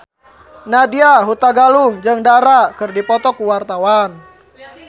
Nadya Hutagalung jeung Dara keur dipoto ku wartawan